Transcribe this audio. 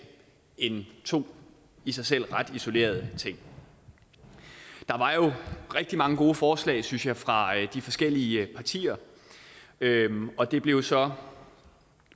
end to i sig selv ret isolerede ting der var jo rigtig mange gode forslag synes jeg fra de forskellige partier og det blev så